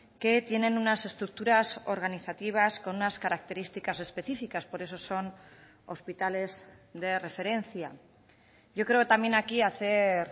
que tienen unas estructuras organizativas con unas características específicas por eso son hospitales de referencia yo creo también aquí hacer